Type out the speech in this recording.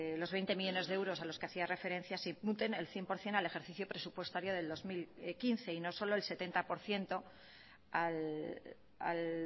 los veinte millónes de euros a los que hacía referencia se imputen el cien por ciento al ejercicio presupuestario del dos mil quince y no solo el setenta por ciento al